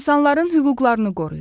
İnsanların hüquqlarını qoruyur.